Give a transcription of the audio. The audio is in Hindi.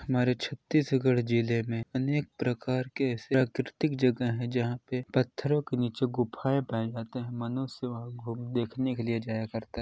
हमारे छत्तीसगढी जिले में अनेक प्रकार के ऐसे आकरेतीक जगह है जहाँ पे पत्थरों के नीचे गुफ़ाएँ पाए जाता है मनुष्य वहाँ घूम-- देखने के लिए जाया करता है।